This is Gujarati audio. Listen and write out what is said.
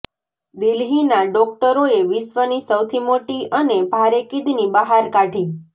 દિલ્હીના ડોકટરોએ વિશ્વની સૌથી મોટી અને ભારે કિડની બહાર કાઢી